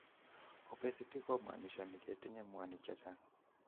Obesity ko monishoni ketinye mwanik checang'